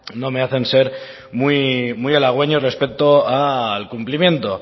no me hacen ser muy halagüeño respecto al cumplimiento